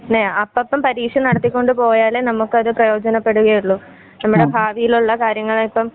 ഇല്ലേ അപ്പപ്പം പരീക്ഷ നടത്തികൊണ്ട് പോയാലേ നമുക്കത് പ്രേയോജന പെടുകയുള്ളു. നമ്മുടെ ഭാവിയിലുള്ള കാര്യങ്ങളിപ്പം